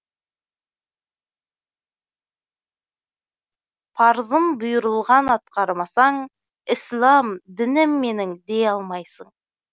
парызын бұйырылған атқармасаң ислам дінім менің дей алмайсың